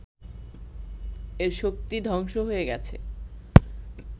এর শক্তি ধ্বংস হয়ে গেছে